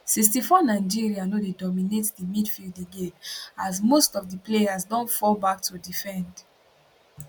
64 nigeria no dey dominate di midfield again as most of di players don fall back to defend